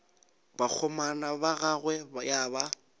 bakgomana ba gagwe ya ba